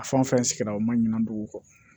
A fan fɛn sigira o ma ɲina dugu kɔ